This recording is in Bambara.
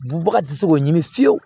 Bagan tɛ se k'o ɲini fiyewu